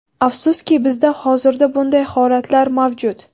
Afsuski, bizda hozirda bunday holatlar mavjud.